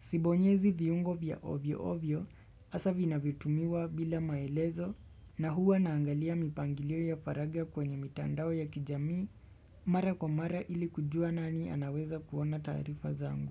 Sibonyezi viungo vya ovyo ovyo hasa vinavyotumiwa bila maelezo na huwa naangalia mipangilio ya faragha kwenye mitandao ya kijamii mara kwa mara ili kujua nani anaweza kuona taarifa zangu.